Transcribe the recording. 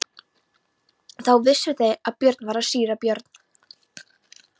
Þá vissu þeir að þar var síra Björn.